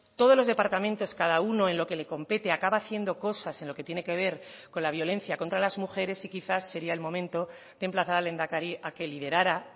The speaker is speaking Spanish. todos los departamentos cada uno en lo que le compete acaba haciendo cosas en lo que tiene que ver con la violencia contra las mujeres y quizás sería el momento de emplazar al lehendakari a que liderara